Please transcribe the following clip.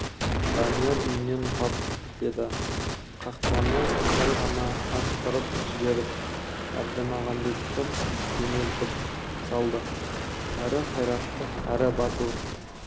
данияр үйінен тап деді қақпаны сәл ғана аштырып жіберіп әлмағамбетті жөнелтіп салды әрі қайратты әрі батыл